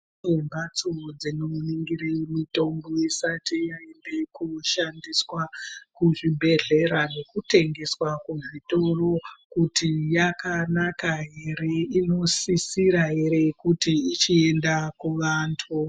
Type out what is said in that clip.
Kune mbatso dzinoningire mitombo isati yaende koshandiswa kuzvibhedhlera ,nekutengeswa kuzvitoro kuti yakanaka ere, inosisira ere kuti ichienda kuvantu .